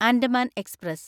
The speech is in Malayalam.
ആൻഡമാൻ എക്സ്പ്രസ്